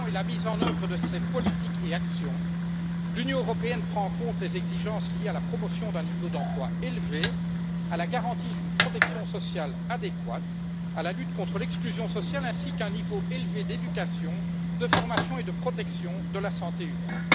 Monsieur le Président, dans la définition et la mise en œuvre de ces politiques et actions, l'Union européenne prend en compte les exigences liées à la promotion d'un niveau d'emploi élevé, à la garantie d'une protection sociale adéquate, à la lutte contre l'exclusion sociale ainsi qu'à un niveau élevé d'éducation, de formation et de protection de la santé humaine.